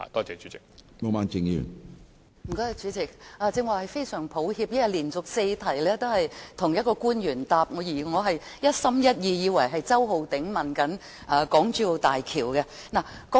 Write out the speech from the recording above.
主席，非常抱歉，因為連續數項口頭質詢均由同一位官員作答，我剛才以為周浩鼎議員正在提出有關大橋的質詢。